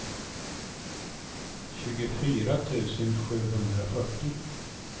tjugofyra tusen sjuhundrafyrtio